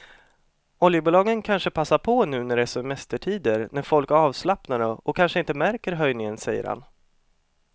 Oljebolagen kanske passar på nu när det är semestertider när folk är avslappnade och kanske inte märker höjningen, säger han.